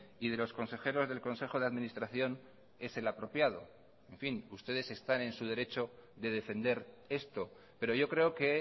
y de los consejeros del consejo de administración es el apropiado en fin ustedes están en su derecho de defender esto pero yo creo que